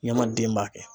Ɲamaden b'a kɛ